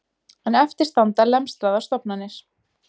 En eftir standa lemstraðar stofnanir